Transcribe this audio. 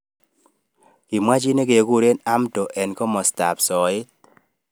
Kimwa chi nekekure Hamdo eng kimasta ab soet.